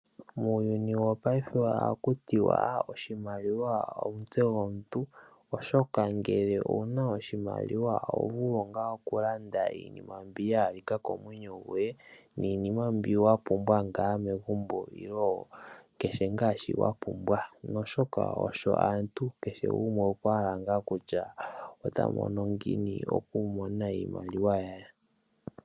Muuyuni yo payife oha kutiwa oshimaliwa omutse gomuntu, oshoka ngele owuna oshimaliwa oho vulu wo okulanda iinima mbi yahalika komwenyo goye niinima mbi wapumbwa nga megumbo Ilo kehe nga shi wapumbwa, oshoka osho aantu kehe gumwe okwahala nga kutya otamono ngiini okumona iimaliwa yaye.